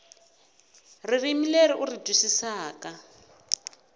ririmi leri u ri twisisaka